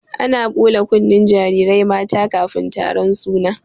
Ana ɓula kunnen jarirai mata kafin taron suna.